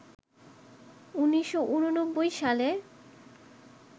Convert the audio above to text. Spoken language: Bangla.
১৯৮৯ সালে